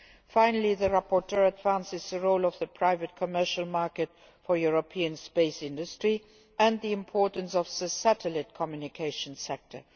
Finally, the rapporteur advances the role of the private commercial market for the European space industry and the importance of the satellite communications sector.